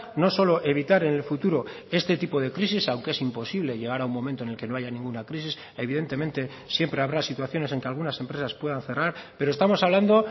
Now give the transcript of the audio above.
no solo evitar en el futuro este tipo de crisis aunque es imposible llegar a un momento en el que no haya ninguna crisis evidentemente siempre habrá situaciones en que algunas empresas puedan cerrar pero estamos hablando